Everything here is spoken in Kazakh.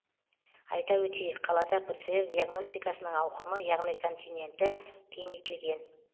айта өтейік қалада пцр диагностикасының ауқымы яғни контингенті кеңейтілген